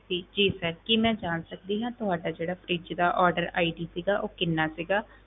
ਜੀ ਜੀ sir ਕੀ ਮੈਂ ਜਾਣ ਸਕਦੀ ਹਾਂ ਤੁਹਾਡਾ ਜਿਹੜਾ fridge ਦਾ order ID ਸੀਗਾ ਉਹ ਕਿੰਨਾ ਸੀਗਾ?